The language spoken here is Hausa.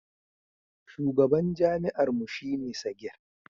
shugaban jami'ar mu shi ne Sagir